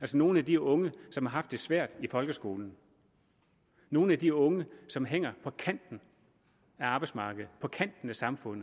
til nogle af de unge som har haft det svært i folkeskolen nogle af de unge som hænger på kanten af arbejdsmarkedet på kanten af samfundet